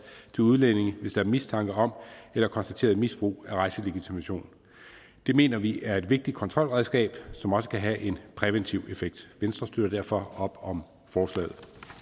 til udlændinge hvis der er mistanke om eller konstateret misbrug af rejselegitimation det mener vi er et vigtigt kontrolredskab som også kan have en præventiv effekt venstre støtter derfor op om forslaget